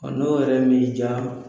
Ɔ n'o yɛrɛ m'i diya